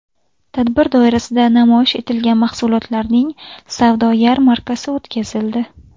Tadbir doirasida namoyish etilgan mahsulotlarning savdo yarmarkasi o‘tkazildi.